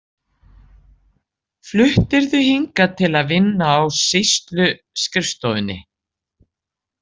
Fluttirðu hingað til að vinna á sýsluskrifstofunni?